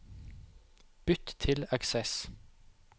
Bytt til Access